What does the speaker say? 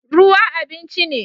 Ruwa abinci ne